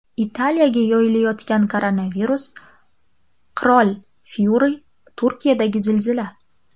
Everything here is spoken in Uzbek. Italiyaga yoyilayotgan koronavirus, qirol Fyuri, Turkiyadagi zilzila.